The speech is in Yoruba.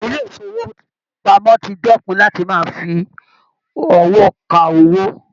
Ilé ifowopamọ tí dẹkùn láti máa fí ọwọ ká owó.